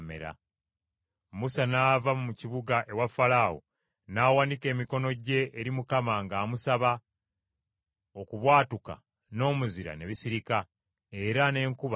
Musa n’ava mu kibuga ewa Falaawo, n’awanika emikono gye eri Mukama ng’amusaba; okubwatuka n’omuzira ne bisirika, era n’enkuba n’ekya.